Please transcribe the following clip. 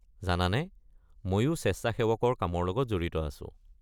জানানে, মইও স্বেচ্ছাসেৱকৰ কামৰ লগত জড়িত আছো।